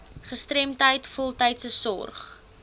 gestremdheid voltydse sorg